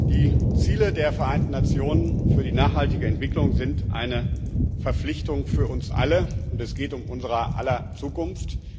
Die Ziele der Vereinten Nationen für die nachhaltige Entwicklung sind eine Verpflichtung für uns alle, und es geht um unser aller Zukunft.